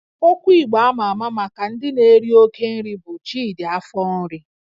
Okwu Igbo ama ama maka ndị na-eri oke nri bụ 'Chidi afọ nri'